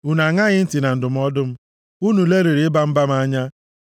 Unu aṅaghị ntị na ndụmọdụ m. Unu lelịrị ịba mba m anya.